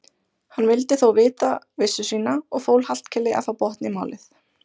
Hann vildi þó vita vissu sína og fól Hallkeli að fá botn í málið.